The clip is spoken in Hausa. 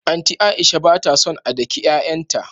Anti Aisha batason a daki y'ay'an ta